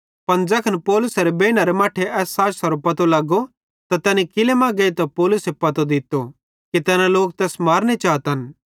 पन ज़ैखन पौलुसेरे भनैज़े एस साजशरो पतो लगो त तैनी किल्लै मां गेइतां पौलुसे पतो दित्तो कि तैना लोक तैस मारनो चातन